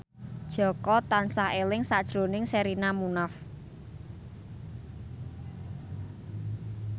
Jaka tansah eling sakjroning Sherina Munaf